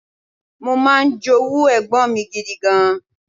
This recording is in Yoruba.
Mo máa ń jowú ẹ̀gbọ́n mi gidi gan.